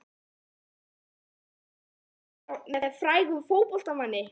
Áttu mynd af þér með frægum fótboltamanni?